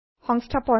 সংস্থাপন